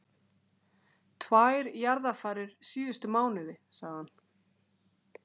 Tvær jarðarfarir síðustu mánuði, sagði hann.